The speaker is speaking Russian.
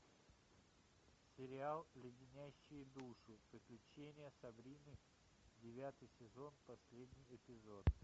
сериал леденящие душу приключения сабрины девятый сезон последний эпизод